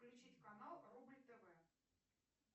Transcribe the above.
включить канал рубль тв